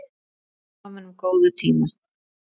Stöndum saman um góða tíma.